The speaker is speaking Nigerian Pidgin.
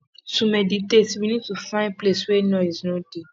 to meditate we need to find place wey noise no dey